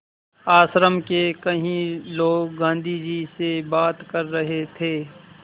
आश्रम के कई लोग गाँधी जी से बात कर रहे थे